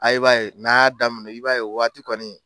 A b'a ye n'a y'a daminɛ i b'a ye o waati kɔni